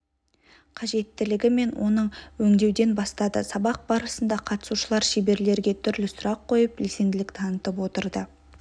қажеттілігі мен оны өңдеуден бастады сабақ барысында қатысушылар шеберлерге түрлі сұрақ қойып белсенділік танытып отырды